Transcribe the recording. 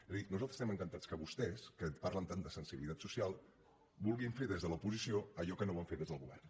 és a dir nosaltres estem encantats que vostès que parlen tant de sensibilitat social vulguin fer des de l’oposició allò que no van fer des del govern